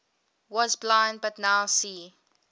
was blind but now see